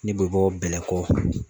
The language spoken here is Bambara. Ne bɛ bɔ BƐLƐKƆ